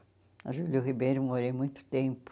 Na Júlio Ribeiro, eu morei muito tempo.